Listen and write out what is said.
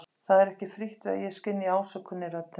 Það er ekki frítt við að ég skynji ásökun í röddinni.